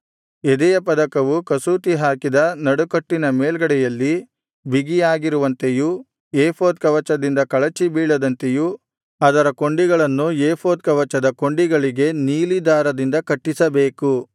ಎದೆಯ ಪದಕವು ಕಸೂತಿಹಾಕಿದ ನಡುಕಟ್ಟಿನ ಮೇಲ್ಗಡೆಯಲ್ಲಿ ಬಿಗಿಯಾಗಿರುವಂತೆಯೂ ಏಫೋದ್ ಕವಚದಿಂದ ಕಳಚಿಬೀಳದಂತೆಯೂ ಅದರ ಕೊಂಡಿಗಳನ್ನು ಏಫೋದ್ ಕವಚದ ಕೊಂಡಿಗಳಿಗೆ ನೀಲಿ ದಾರದಿಂದ ಕಟ್ಟಿಸಬೇಕು